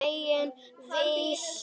Sína eigin veislu.